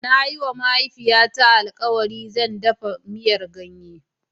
Na yi wa mahaifiyata alkawari ɗafa miyar ganye.